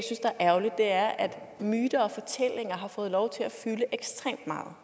ærgerligt er at myter og fortællinger har fået lov til at fylde ekstremt meget